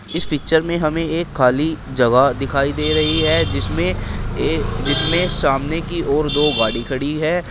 इस पिक्चर में हमें एक खाली जगह दिखाई दे रही है जिसमें सामने की ओर दो गाड़ी खड़ी है।